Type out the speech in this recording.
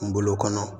Kungolo kɔnɔ